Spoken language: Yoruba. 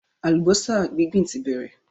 Àlùbọ́sà gbíǹgbíǹ ti bẹ̀rẹ̀